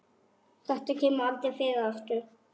Þetta kemur aldrei fyrir aftur.